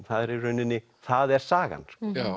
það er í rauninni það er sagan